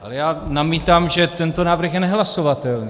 Ale já namítám, že tento návrh je nehlasovatelný.